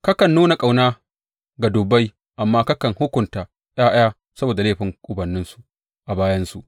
Kakan nuna ƙauna ga dubbai amma kakan hukunta ’ya’ya saboda laifin ubanninsu a bayansu.